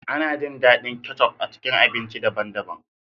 Ana jin daɗin kecup a cikin abinci daban-daban.